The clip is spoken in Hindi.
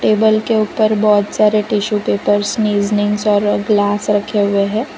टेबल के ऊपर बहोत सारे टिशू पेपर्स स्नीजनींग ग्लास रखे हुए है।